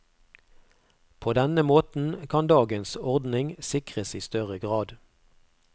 På denne måten kan dagens ordning sikres i større grad.